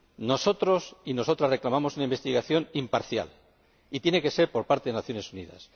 Nosotros y nosotras reclamamos una investigación imparcial, y tiene que ser por parte de las Naciones Unidas.